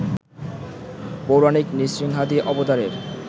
পৌরাণিক নৃসিংহাদি অবতারের